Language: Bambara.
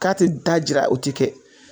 K'a te da jira o ti kɛ